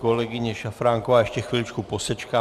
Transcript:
Kolegyně Šafránková ještě chviličku posečká.